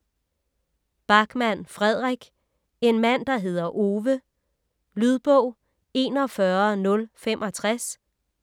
Backman, Fredrik: En mand der hedder Ove Lydbog 41065